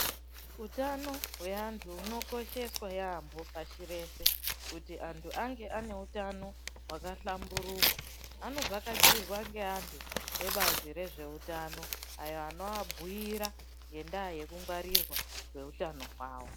Utano hweantu hunokosheswa yaambo pashi rese. Kuti antu ange neutano hwakahlamburuka anovhakachirwa ngeantu ebazi rezveutano ayo anovabhuira ngendaa yekungwarirwa kweutano hwavo.